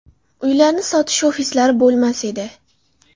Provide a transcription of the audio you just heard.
Uylarni sotish ofislari bo‘lmas edi.